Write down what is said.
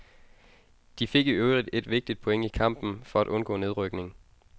De fik i øvrigt et vigtigt point i kampen for at undgå nedrykning.